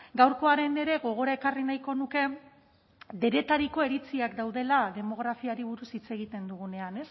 gaurkoaren ere gogora ekarri nahiko nuke denetariko iritziak daudela demografiari buruz hitz egiten dugunean